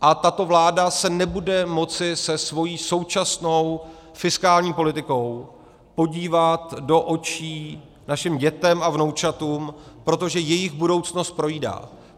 A tato vláda se nebude moci se svou současnou fiskální politikou podívat do očí našim dětem a vnoučatům, protože jejich budoucnost projídá.